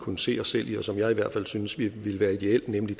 kunne se os selv i og som jeg i hvert fald synes ville ville være ideel nemlig